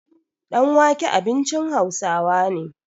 danwake abincin Hausawa ne